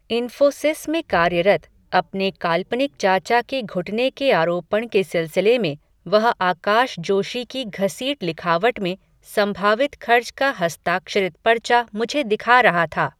इन्फ़ोसिस में कार्यरत, अपने काल्पनिक चाचा के घुटने के आरोपण के सिलसिले में, वह आकाश जोशी की घसीट लिखावट में, संभावित खर्च का हस्ताक्षरित पर्चा मुझे दिखा रहा था